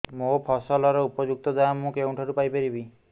ମୋ ଫସଲର ଉପଯୁକ୍ତ ଦାମ୍ ମୁଁ କେଉଁଠାରୁ ପାଇ ପାରିବି